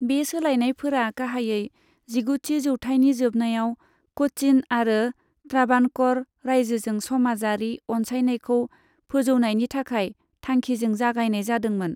बे सोलायनायफोरा गाहायै जिगुथि जौथायनि जोबनायाव क'चिन आरो त्राबाणक'र रायजोजों समाजारि अनसायनायखौ फोजौनायनि नाजानाय थांखिजों जागायनाय जादोंमोन।